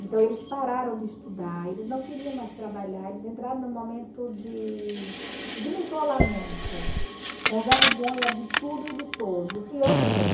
Então eles pararam de estudar, eles não queriam mais trabalhar, eles entraram num momento de de isolamento, com vergonha de tudo e de todos, e eu também.